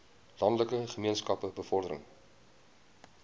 landelike gemeenskappe bevordering